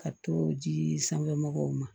Ka to ji sanfɛ mɔgɔw ma